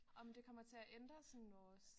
Om det kommer til at sådan ændre vores